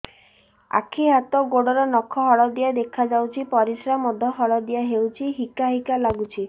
ଆଖି ହାତ ଗୋଡ଼ର ନଖ ହଳଦିଆ ଦେଖା ଯାଉଛି ପରିସ୍ରା ମଧ୍ୟ ହଳଦିଆ ହଉଛି ହିକା ହିକା ଲାଗୁଛି